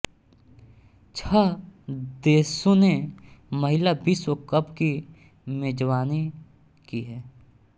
छह देशों ने महिला विश्व कप की मेजबानी की है